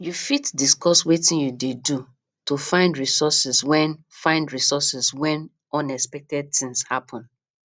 you fit discuss wetin you dey do to find resources when find resources when unexpected things happen